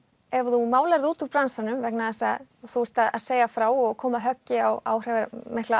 ef þú málar þig út úr bransanum vegna þess að þú ert að segja frá og koma höggi á áhrifamikla